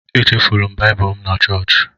Echefuru m Baịbụl m na chọọchị.